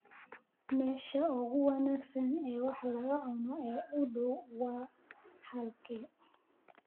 Meesha ugu wanaagsan ee wax laga cuno ee u dhow waa halkee?